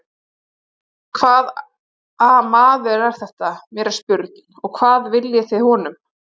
Hvaða maður er þetta, mér er spurn, og hvað viljið þið honum?